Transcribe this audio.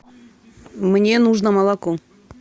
мне нужно молоко